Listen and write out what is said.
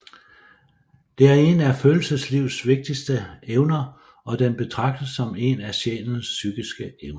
Det er en af følelseslivets vigtigste evner og den betragtes som en af sjælens psykiske evner